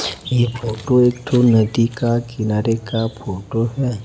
ये फोटो एक ठो नदी का किनारे का फोटो है।